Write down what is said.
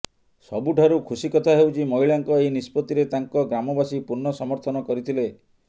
ସବୁଠାରୁ ଖୁସି କଥା ହେଉଛି ମହିଳାଙ୍କ ଏହି ନିଷ୍ପତିରେ ତାଙ୍କ ଗ୍ରାମବାସୀ ପୂର୍ଣ୍ଣ ସମର୍ଥନ କରିଥିଲେ